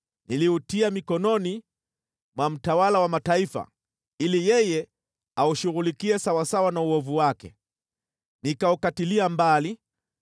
niliutia mikononi mwa mtawala wa mataifa, ili yeye aushughulikie sawasawa na uovu wake. Nikaukatilia mbali,